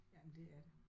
Jamen det er det